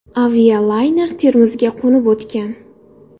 Avialayner Termizga qo‘nib o‘tgan.